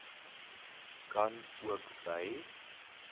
kan ook by